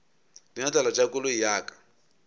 dinotlelo tša koloi ya ka